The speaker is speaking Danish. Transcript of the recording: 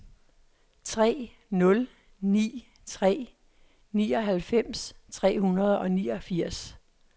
tre nul ni tre nioghalvfems tre hundrede og niogfirs